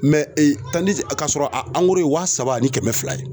k'a sɔrɔ ye wa saba ani kɛmɛ fila ye.